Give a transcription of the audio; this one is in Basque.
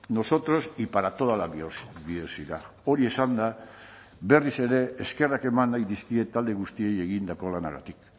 nosotros y para toda la biodiversidad hori esanda berriz ere eskerrak eman nahi dizkiet talde guztiei egindako lanagatik